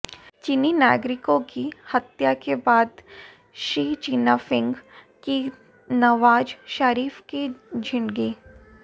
चीनी नागरिकों की हत्या के बाद शी चिनफिंग की नवाज शरीफ को झिड़की